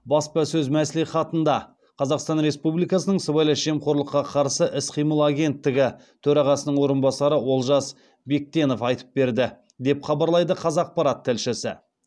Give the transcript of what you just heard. баспасөз мәслихатында қазақстан республикасының сыбайлас жемқорлыққа қарсы іс қимыл агенттігі төрағасының орынбасары олжас бектенов айтып берді деп хабарлайды қазақпарат тілшісі